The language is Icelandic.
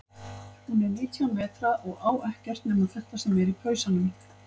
Hún er nítján vetra og á ekkert nema þetta sem er í pausanum.